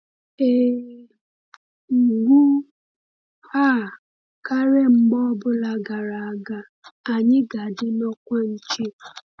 “Ee, ugbu a karịa mgbe ọ bụla gara aga, anyị ga-adị n’ọkwa nche!”